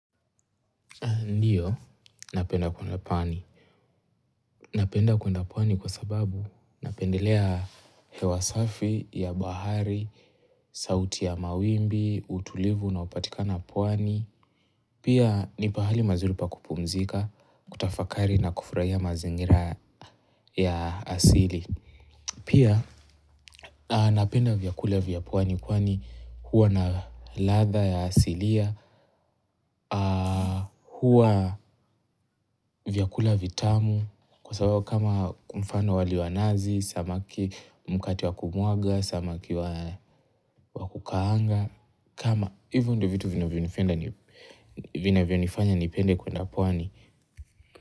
Napenda kuenda pwani kwa sababu napendelea hewa safi ya bahari, sauti ya mawimbi, utulivu unaopatikana pwani. Pia ni pahali mazuri pa kupumzika, kutafakari na kufurahia mazingira ya asili. Pia napenda vyakula vya pwani kwani huwa na ladha ya asilia, huwa vyakula vitamu kwa sababu kama kwa mfano wali wa nazi, samaki mkate wa kumwaga, samaki wa kukaanga, kama hivyo ndio vitu vinavyonifanya nipende kuenda pwani.